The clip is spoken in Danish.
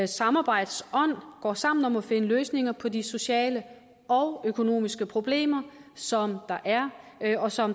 samarbejdsånd går sammen om at finde løsninger på de sociale og økonomiske problemer som der er og som